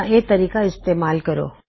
ਇਹ ਹੀ ਤਰੀਕੇ ਨੇ ਇਸਨੂੰ ਇਸਤੇਮਾਲ ਕਰਨ ਦੇ